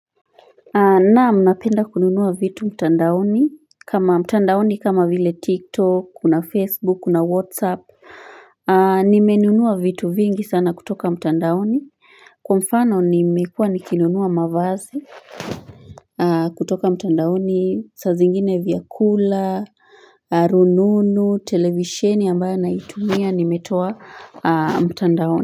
Naam, napenda kununua vitu mtandaoni kama mtandaoni kama vile tiktok, kuna facebook, kuna whatsapp nimenunua vitu vingi sana kutoka mtandaoni kwa mfano nimekua nikinunua mavazi kutoka mtandaoni sa zingine vyakula, rununu, televisheni ambayo naitumia nimetoa mtandaoni.